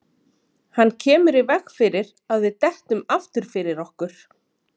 Hann kemur í veg fyrir að við dettum aftur fyrir okkur.